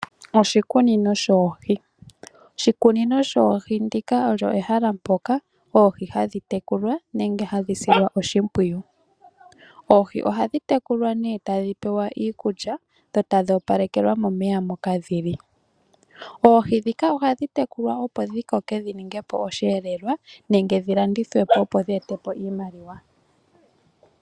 Oshikunino shoohi. Oshikunino shoohi ndika olyo ehala mpoka oohi ha dhi tekulwa, nenge ha dhi silwa oshimpwiyu. Oohi oha dhi tekulwa nee, uuna ta dhi pewa iikulya, dho ta dhi opalekelwa momeya moka dhili. Oohi ndhika oha dhi tekulwa opo dhi koke dhi ningepo osheelelwa, nenge dhi landithwepo opo dhi etepo oshimaliwa.